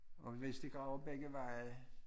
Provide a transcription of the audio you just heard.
Og hvis de graver begge veje